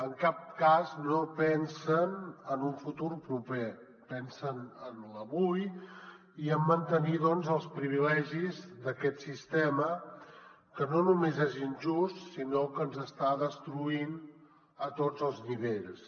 en cap cas no pensen en un futur proper pensen en l’avui i en mantenir els privilegis d’aquest sistema que no només és injust sinó que ens està destruint a tots els nivells